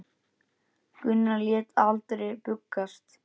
Gunnar lét aldrei bugast.